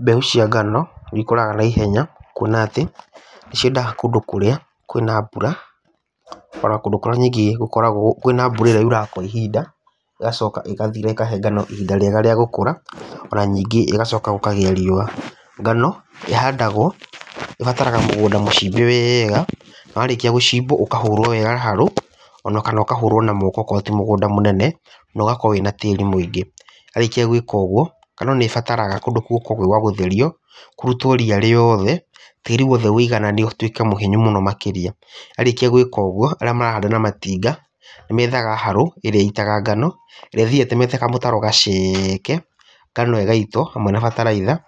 Mbeũ cia ngano nĩ ikũraga na ihenya, kuona atĩ ciendaga kũndũ kũrĩa kwĩna mbura ona kũndũ kũrĩa gũkoragwo na mbũra ĩrĩa yuraga kwa ihinda ĩgacoka ĩgathira ĩkahe ngano ihinda rĩega rĩa gũkũra ona ningĩ gũgacoka gũkagĩa riũa. Ngano ĩhandagwo, ĩbataraga mũgũnda mũcimbe wega, na warĩkia gũcimbwo ũkahurwo wega harũ, ona kana ũkahurwo na moko akorwo ti mũgũnda mũnene na ũgakorwo wĩna tĩri mũingĩ. Warĩkia gwĩka ũguo, ngano nĩ ĩbataraga kũndũ kũu gũkorwo gwĩ gwagũtherio, kũrutwo ria rĩothe tĩri wothe woigananio ũtuĩke mũhinyu mũno makĩria. Warĩkia gwĩka ũguo, arĩa marahanda na matinga nĩ methaga harũ, ĩrĩa ĩitaga ngao ĩrĩa ĩthiaga ĩtemete kamũtaro gaceke, ngano ĩgaitwo hamwe na bataraitha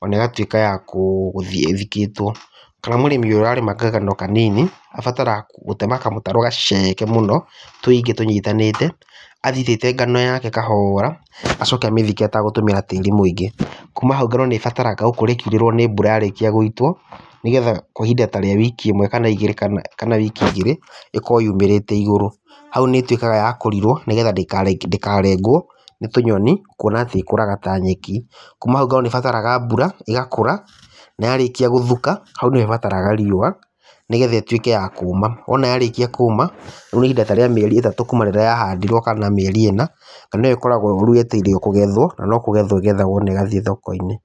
ona ĩgatuĩka ya gũthiĩ ithikĩtwo. Kana mũrĩmi ũrarĩma ngano kanini, abataraga gũtema kamũtaro gaceke mũno, tũingĩ tũnyitanĩte athiĩ aitĩte ngano yake kahora, acoke amĩthike ategũtũmĩra tĩri mũingĩ. Kuma hau ngano nĩ ĩbataraga kgũkorwo ĩkiurĩrwo nĩ mbura yarĩkia gũitwo, nĩgetha ihinda ta rĩa wiki ĩmwe kana ĩgĩrĩ kana wiki igĩrĩ ĩkorwo yumĩrĩte igũrũ. Hau nĩ ĩtuĩkaga ya kũrirwo, nĩgetha ndĩkarengwo nĩ tũnyoni, kuona atĩ ĩkũraga ta nyeki. Kuma hau ngano nĩ ĩbataraga mbura, ĩgakũra na yarĩkia gũthuka hau nĩ ho ĩbataraga riũa, nĩgetha ĩtuĩke ya kũma. Wona yarĩkia kuma ihinda ta rĩa mĩeri ĩtatũ kuma rĩrĩa yahandirwo kana mĩeri ĩna, ngano ĩyo rĩu ĩkoragwo yetereirwo kũgethwo, na no kũgethwo ĩgethagwo na ĩgathiĩ thoko-inĩ.